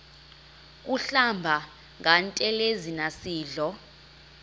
kuhlamba ngantelezi nasidlo